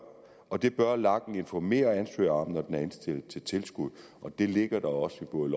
og det bør lagen informere ansøger om når den er indstillet til tilskud og det ligger der også i både